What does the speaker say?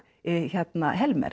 hérna